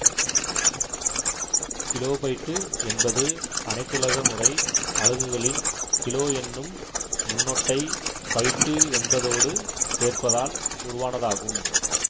kilobyte என்பது அனைத்துலக முறை அலகுகளின் கிலோ என்னும் முன்னொட்டை பைட்டு என்பதோடு சேர்ப்பதால் உருவானதாகும்